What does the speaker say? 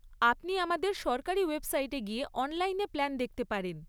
আপনি আমাদের সরকারি ওয়েবসাইটে গিয়ে অনলাইনে প্ল্যান দেখতে পারেন।